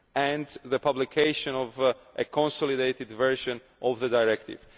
and the publication of a consolidated version of the directive.